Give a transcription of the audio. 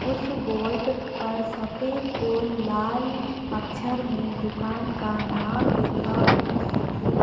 उस बोर्ड पर सफ़ेद और लाल अक्षर में दुकान का नाम लिखा हुआ है।